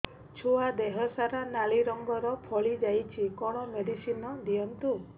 ଛୁଆ ଦେହ ସାରା ନାଲି ରଙ୍ଗର ଫଳି ଯାଇଛି କଣ ମେଡିସିନ ଦିଅନ୍ତୁ